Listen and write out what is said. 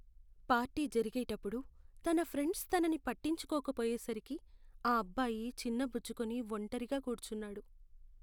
Party జరిగేటప్పుడు తన friends తనని పట్టించుకోకపోయేసరికి ఆ అబ్బాయి చిన్నబుచ్చుకుని ఒంటరిగా కూర్చున్నాడు.